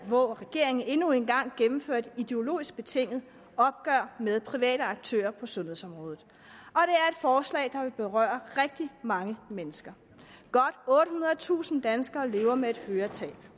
hvor regeringen endnu en gang gennemfører et ideologisk betinget opgør med private aktører på sundhedsområdet og forslag der vil berøre rigtig mange mennesker godt ottehundredetusind danskere lever med et høretab